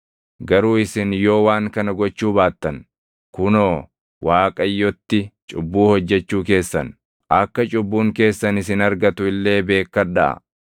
“Garuu isin yoo waan kana gochuu baattan, kunoo Waaqayyotti cubbuu hojjechuu keessan; akka cubbuun keessan isin argatu illee beekkadhaa.